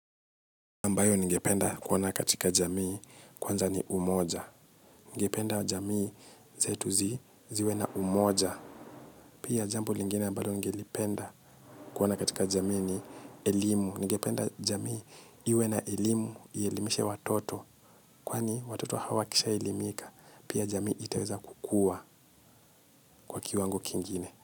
Ambayo ningependa kuona katika jamii kwanza ni umoja. Ningependa jamii zetu zi ziwe na umoja. Pia jambo lingine ambalo ningeli penda kuona katika jamii ni elimu. Ningependa jamii iwe na elimu ielimishe watoto. Kwani watoto hawa wakisha elimika. Pia jamii itaweza kukua kwa kiwango kingine.